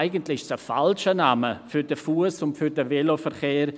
Eigentlich ist das ein falscher Name für den Fuss- und Veloverkehr.